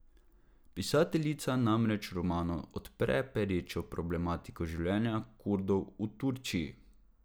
Pisateljica namreč v romanu odpre perečo problematiko življenja Kurdov v Turčiji.